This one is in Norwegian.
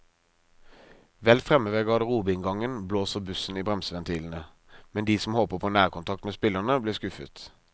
Vel fremme ved garderobeinngangen blåser bussen i bremseventilene, men de som håper på nærkontakt med spillerne, blir skuffet.